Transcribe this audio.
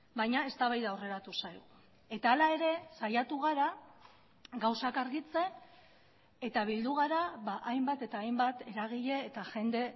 baina eztabaida aurreratu zaigu eta hala ere saiatu gara gauzak argitzen eta bildu gara hainbat eta hainbat eragile eta jende